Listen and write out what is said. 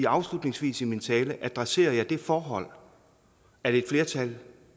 afslutningsvis i min tale adresserede jeg det forhold at et flertal